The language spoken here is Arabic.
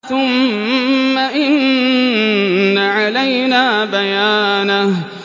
ثُمَّ إِنَّ عَلَيْنَا بَيَانَهُ